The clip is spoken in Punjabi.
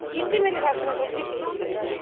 ਕੀਤੀ ਮੇਰੀ ਸੱਸ ਨੇ ਥੋੜੀ ਜੀ ਕਿੰਤੂ ਪਰੰਤੂ